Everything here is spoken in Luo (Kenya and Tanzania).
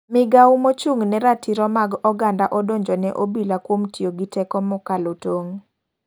Migao mochung' ne ratiro mag oganda odonjo ne obila kuom tiyo gi teko mokalo tong.